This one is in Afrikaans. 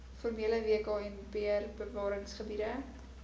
formele wknbr bewaringsgebiede